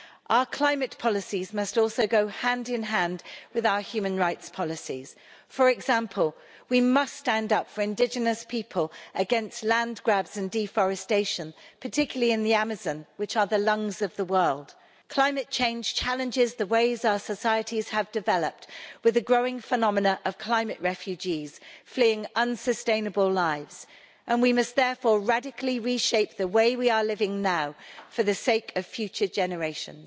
Our climate policies must also go hand in hand with our human rights policies, for example we must stand up for indigenous people against land grabs and deforestation, particularly in the Amazon, which is the lungs of the world. Climate change challenges the ways our societies have developed with the growing phenomenon of climate refugees fleeing unsustainable lives and we must therefore radically reshape the way we are living now, for the sake of future generations.